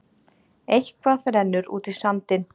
Eitthvað rennur út í sandinn